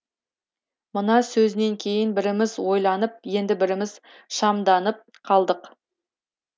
мына сөзінен кейін біріміз ойланып енді біріміз шамданып қалдық